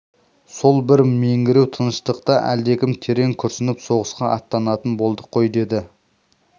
сол бір меңіреу тыныштықта әлдекім терең күрсініп соғысқа аттанатын болдық қой деді